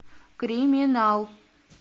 криминал